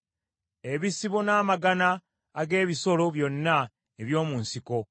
ebisibo n’amagana ag’ebisolo byonna eby’omu nsiko,